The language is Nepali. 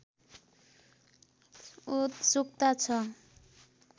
उत्सुकता छ